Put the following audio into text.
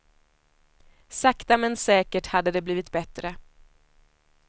Sakta men säkert hade det blivit bättre.